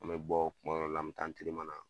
An mɛ bɔ kumadɔ la an mi taa na